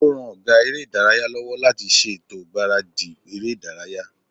Ó ran ọgá eré ìdárayá lọ́wọ́ láti ṣètò ìgbáradì eré ìdárayá